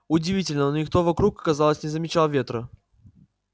удивительно но никто вокруг казалось не замечал ветра